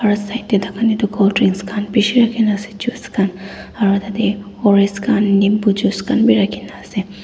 side ta takhan edu colddrink khan bishi rakhina ase juice khan aro tatae ors khan nimbu juice khan bi rakhina ase.